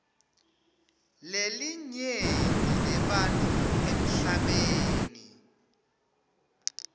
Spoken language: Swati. lelinyenti lebantfu emhlabeni